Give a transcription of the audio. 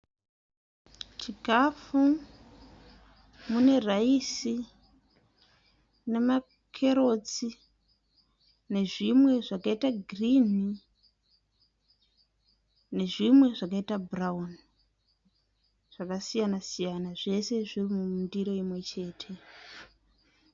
Chikafu, mune raisi, nemakerotsi nezvimwe zvakaita girini nezvimwe zvakaita bhurauni zvakasiyana siyana. Zvese zviri mundiro imwe chete.